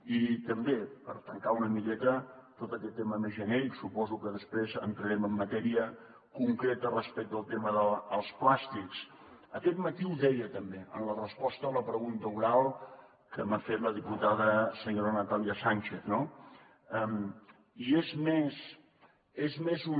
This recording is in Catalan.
i també per tancar una miqueta tot aquest tema més genèric que suposo que després entrarem en matèria concreta respecte al tema dels plàstics aquest matí ho deia també en la resposta a la pregunta oral que m’ha fet la diputada senyora natàlia sànchez no és més una